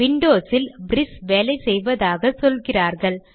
Windows இல் பிரிஸ் வேலை செய்வதாக சொல்கிறார்கள்